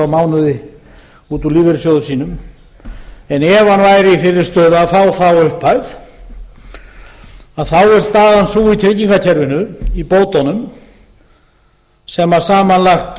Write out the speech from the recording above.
mánuði út úr lífeyrissjóði sínum en ef hann væri í þeirri stöðu að fá þá upphæð þá er staðan sú í tryggingakerfinu í bótunum sem